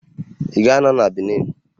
Ị ga-anọ na Benin?